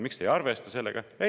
Miks te ei arvesta sellega?